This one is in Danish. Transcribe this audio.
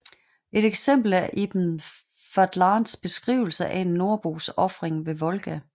Et eksempel er Ibn Fadlans beskrivelse af en nordbos ofring ved Volga